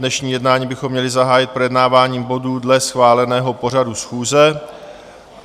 Dnešní jednání bychom měli zahájit projednáváním bodů dle schváleného pořadu schůze.